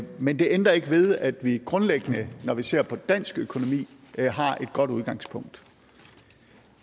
men det ændrer ikke ved at vi grundlæggende når vi ser på dansk økonomi har et godt udgangspunkt